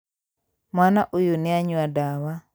Mwana ũyũ nĩanyua ndawa